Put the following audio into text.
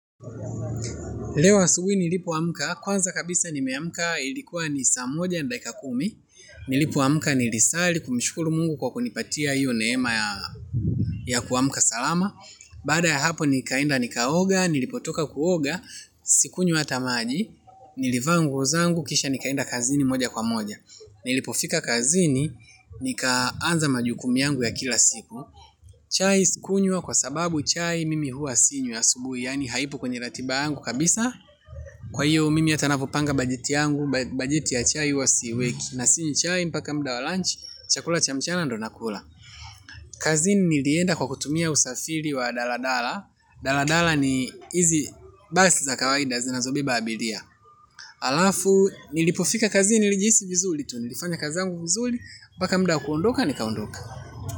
Leo subuhi nilipo amka kwanza kabisa nimeamka ilikuwa nisaa moja nadakika kumi. Nilipo amka nilisali kumshkuru mungu kwa kunipatia hiyo neema ya kuamka salama. Baada ya hapo nikaenda nikaoga nilipotoka kuoga. Sikunywa hata maji. Nilivaangu ozangu kisha nikaenda kazini moja kwa moja. Nilipofika kazini nikaanza majukumu yangu ya kila siku. Chai sikunywa kwa sababu chai mimi hua sinywi asubuhi. Yaani haipo kwenye ratiba yangu kabisa. Kwa hiyo mimi hatanapopanga bajeti yangu bajeti ya chai huwa siiweki. Na sinywi chai mpaka mudawa lunch. Chakula chamchana ndonakula. Kazini nilienda kwa kutumia usafiri wa daladala. Daladala ni hizi basi za kawaida zinazobe baabilia alafu nilipofika kazini nilijihisi vizuri tu nilifanya kazizangu vizuri. Mpaka mudawa kuondoka nikaondoka.